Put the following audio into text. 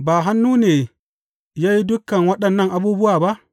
Ba hannuna ne ya yi dukan waɗannan abubuwa ba?’